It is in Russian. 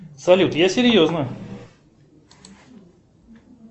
салют я серьезно